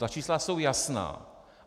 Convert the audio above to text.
Ta čísla jsou jasná.